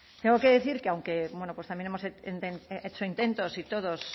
tengo que decir que aunque bueno pues también hemos hecho intentos y todos